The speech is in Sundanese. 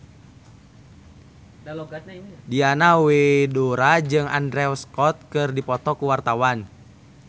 Diana Widoera jeung Andrew Scott keur dipoto ku wartawan